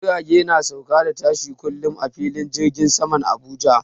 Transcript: Jirage na sauka da tashi kullum a filin jirgin saman Abuja.